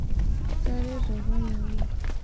ekiteroto apa anyamal